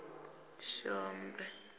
si khombe khombe u ṱo